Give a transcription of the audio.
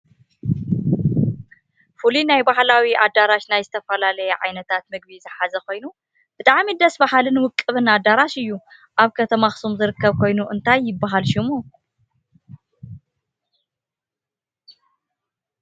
ፍሉይ ናይ ባህላዊ ኣደራሽ ናይ ዝተፈላለየ ዓይነታት ምግቢ ዝሓዘ ኮየኑ ብጣዐሚ ደስ ብሃልን ውቅብን ኣደራሽ እዩ። ኣብ ከተማ ኣክሱም ዝርከብ ኮይኑ እንታይ ይብሃል ሽሙ?